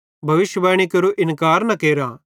भविष्यिवैनी केरो इन्कार न केरा